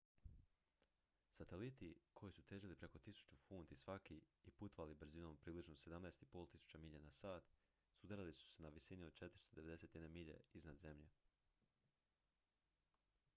sateliti koji su težili preko 1.000 funti svaki i putovali brzinom od približno 17.500 milja na sat sudarili su se na visini od 491 milje iznad zemlje